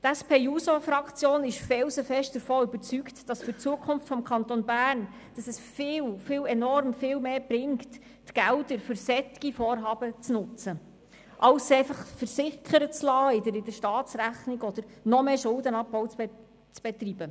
Die SP-JUSO-PSA-Fraktion ist felsenfest davon überzeugt, dass es für die Zukunft des Kantons Bern enorm viel mehr bringt, die Gelder für solche Vorhaben zu nutzen, anstatt sie einfach in der Staatsrechnung versickern zu lassen oder noch mehr Schuldenabbau zu betreiben.